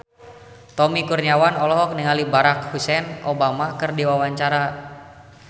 Tommy Kurniawan olohok ningali Barack Hussein Obama keur diwawancara